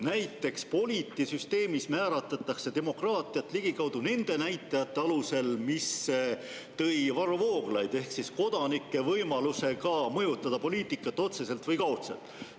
Näiteks Polity süsteemis määratletakse demokraatiat ligikaudu nende näitajate alusel, mida tõi välja Varro Vooglaid, ehk kodanike võimalusega mõjutada poliitikat otseselt või kaudselt.